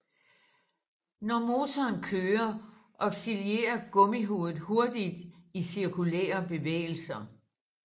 Når motoren kører oscillerer gummihovedet hurtigt i cirkulære bevægelser